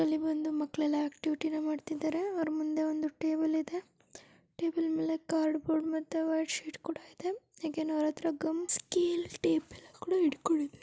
ಇಲ್ಲಿ ಬಂದು ಮಕ್ಕಳೆಲ್ಲಾ ಆಕ್ಟಿವಿಟಿ ಮಾಡತ್ತಿದರೆ. ಅವರ ಮುಂದೆ ಟೇಬಲ್ ಇದೆ